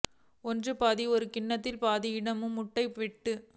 ஒன்று பாதி ஒரு கிண்ணத்தில் பாதி இடத்தில் முட்டைகள் வெட்டி